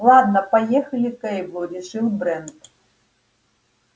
ладно поехали к эйблу решил брент